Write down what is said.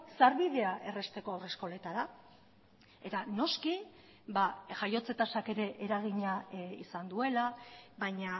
sarbidea errazteko haurreskoletara eta noski jaiotze tasak ere eragina izan duela baina